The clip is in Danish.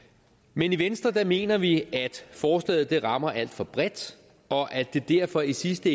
men i venstre mener vi at forslaget rammer alt for bredt og at det derfor i sidste